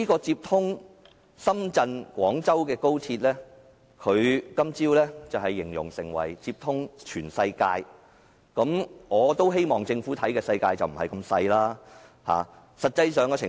接通深圳和廣州的高鐵，他今早形容為接通全世界，我希望政府眼中的世界不是那麼小。